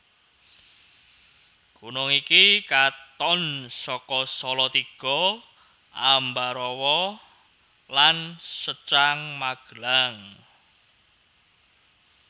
Gunung iki katon saka Salatiga Ambarawa lan Secang Magelang